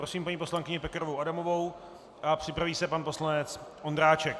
Prosím paní poslankyni Pekarovou Adamovou a připraví se pan poslanec Ondráček.